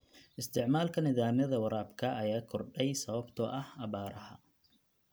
Isticmaalka nidaamyada waraabka ayaa kordhay sababtoo ah abaaraha.